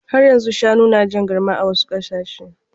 Har yanzu shanu na jan garma a wasu ƙasashe.